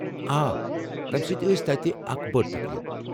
آ، تمہ سۭتۍ ٲسۍ تتہِ اکھ بٔڑ تقریٖب۔